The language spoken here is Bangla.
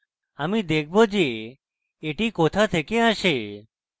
আমি দেখব যে এটি কোথা থেকে আসে